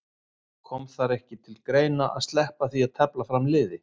Kom það ekki til greina að sleppa því að tefla fram liði?